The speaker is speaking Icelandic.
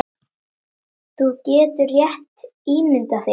Þú getur rétt ímyndað þér!